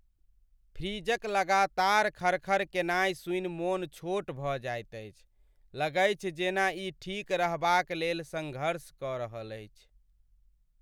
फ्रिजक लगातार खड़ खड़ केनाइ सुनि मोन छोट भऽ जाइत अछि, लगैछ जेना ई ठीक रहबाक लेल सङ्घर्ष कऽ रहल अछि।